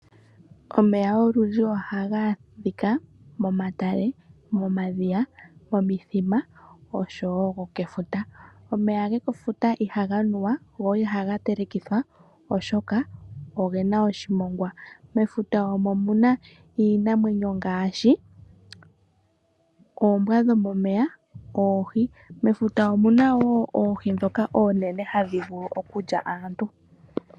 Omeya olundji ohaga adhika momatale, momadhiya, momithima, osho wo gokefuta. Omeya gokefuta ihaga nuwa, go ihaga telekithwa, oshoka oge na oshimongwa. Mefuta omo mu na iinamwenyo ngaashi oombwa dhomomeya, oohi. Mefuta omu na wo oohi ndhoka oonene hadhi vulu okulya aantu.